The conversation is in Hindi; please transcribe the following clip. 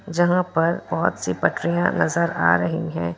जहां पर बहुत सी पटरियां नजर आ रही है।